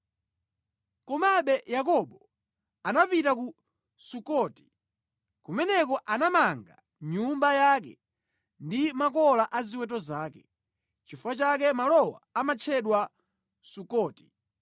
Komabe Yakobo anapita ku Sukoti. Kumeneko anamanga nyumba yake ndi makola a ziweto zake. Nʼchifukwa chake malowa amatchedwa Sukoti.